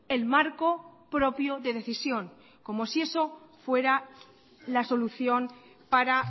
el marco propio de decisión como si eso fuera la solución para